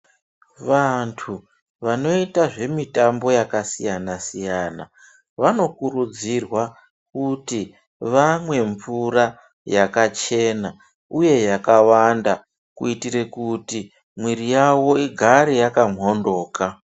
Vantu vanoita zvemitambo yakasiyana-siyana vanokurudzirwa kuti vamwe mvura yakachena uye yakawanda kuitire kuti mwiiri yavo igare yakamhoryoka.